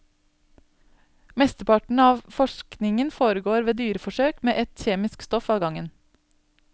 Mesteparten av forskningen foregår ved dyreforsøk med ett kjemisk stoff av gangen.